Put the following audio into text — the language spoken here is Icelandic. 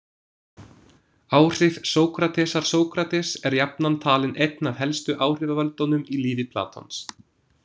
Áhrif Sókratesar Sókrates er jafnan talinn einn af helstu áhrifavöldunum í lífi Platons.